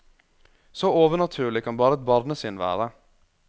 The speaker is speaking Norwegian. Så overnaturlig kan bare et barnesinn være.